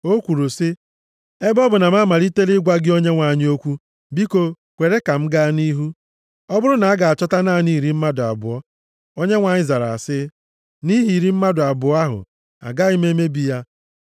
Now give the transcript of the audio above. O kwuru sị, “Ebe ọ bụ na m amalitela ịgwa gị, Onyenwe anyị okwu, biko kwere ka m gaa nʼihu. Ọ bụrụ na a ga-achọta naanị iri mmadụ abụọ?” Onyenwe anyị zara sị, “Nʼihi iri mmadụ abụọ ahụ agaghị m emebi ya.”